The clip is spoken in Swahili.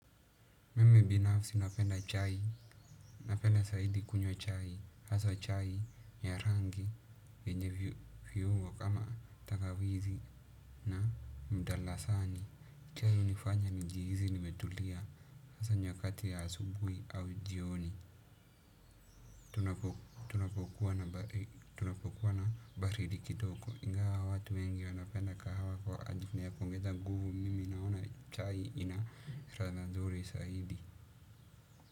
Mimi binafsi napenda chai, napenda zaidi kunywa chai, hasa chai ya rangi, yenye vyiungo kama tagawizi na mdalasani, chai hunifanya nijihizi nimetulia, hasa nyakati ya asubui au jioni, tunapokuwa na baridi kidogo, ingawa watu wengi wanapenda kahawa kwa ajili ya kuongeza nguvu mimi naona chai ina ladha nzuri zaidi.